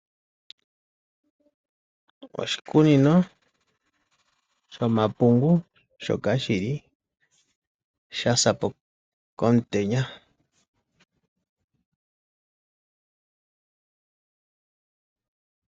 Oshikunino oshamapungu shoka sha sa po komutenya.